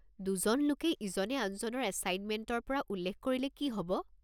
দুজন লোকে ইজনে আনজনৰ এছাইনমেণ্টৰ পৰা উল্লেখ কৰিলে কি হ'ব?